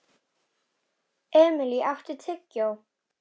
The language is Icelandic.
Emilý, áttu tyggjó?